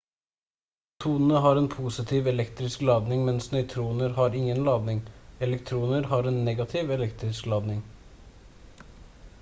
protonene har en positiv elektrisk ladning mens nøytroner har ingen ladning elektroner har en negativ elektrisk ladning